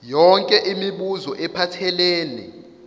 yonke imibuzo ephathelene